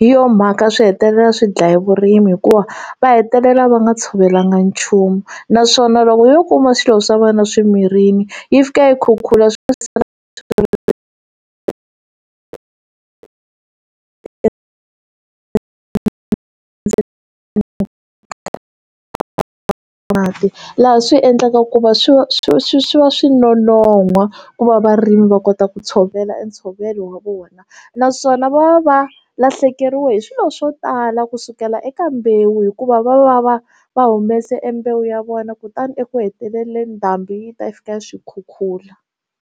hi yona mhaka swi hetelela swi dlaya vurimi hikuva va hetelela va nga tshovelangi nchumu naswona loko yo kuma swilo swa wena swi mirini yi fika yi khukhula swi va swi kha ri na mati laha swi endlaka ku va swi va swi swi swi va swi nonoha ku va varimi va kota ku tshovela ntshovelo wa vona naswona va va lahlekeriwe hi swilo swo tala kusukela eka mbewu hikuva va va va va humese embewu ya vona kutani eku hetelele ndhambi yi ta fika swikhukhula.